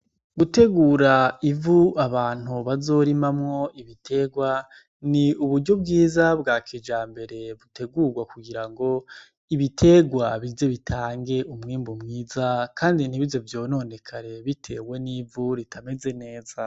Gutegura ivu abantu bazorimamwo ibiterwa ni uburyo bwiza bwa kijambere butegurwa kugira ngo ibiterwa bize bitange umwimbu mwiza kandi ntibize vyononekare bitewe n'ivu ritameze neza.